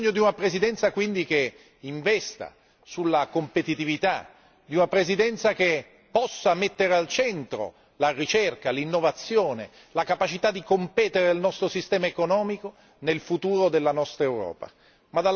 Abbiamo bisogno di una Presidenza, quindi, che investa sulla competitività, di una Presidenza che possa mettere al centro la ricerca, l'innovazione, la capacità di competere del nostro sistema economico nel futuro della nostra Europa.